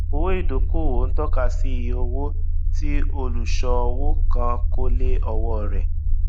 owó ìdókòòwò ó ń tọka sí iye owó tí olùṣòwò kan kó lé òwò rẹ